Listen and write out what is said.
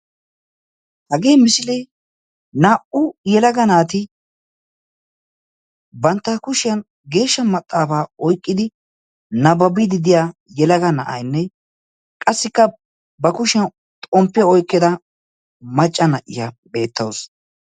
Hagee misilee naa"u yelaga naati bantta kushiyan geeshsha maxaafaa oyqqidi nabbabiyddi diya yelaga na'aynne qassikka ba kushiyan xomppiya oyqqida macca na'iya beettawusu.